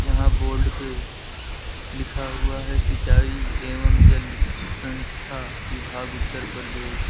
यहां पे बोर्ड पे लिखा हुआ है सिंचाई एवं जल संस्था विभाग उत्तर प्रदेश।